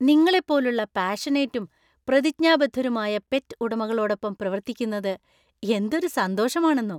നിങ്ങളെപ്പോലുള്ള പാഷനേറ്റും പ്രതിജ്ഞാബദ്ധരുമായ പെറ്റ് ഉടമകളോടൊപ്പം പ്രവർത്തിക്കുന്നത് എന്തൊരു സന്തോഷമാണെന്നോ.